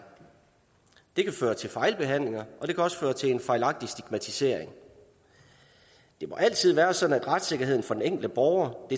det kan føre til fejlbehandlinger og det kan også føre til en fejlagtig stigmatisering det må altid være sådan at retssikkerheden for den enkelte borger